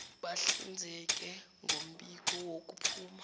bahlinzeke ngombiko wokuphuma